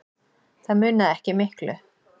Það munaði ekki miklu.